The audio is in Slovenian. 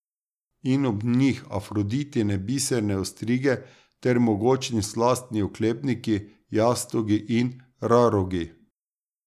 In ob njih Afroditine biserne ostrige ter mogočni slastni oklepniki, jastogi in rarogi.